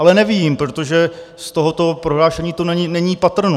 Ale nevím, protože z tohoto prohlášení to není patrno.